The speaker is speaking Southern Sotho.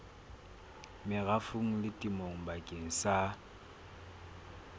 merafong le temong bakeng sa